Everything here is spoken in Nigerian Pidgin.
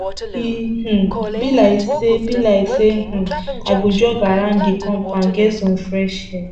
e um be like sey be like sey um i go jog around di compound get some fresh air